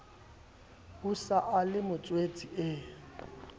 o sa le motswetse e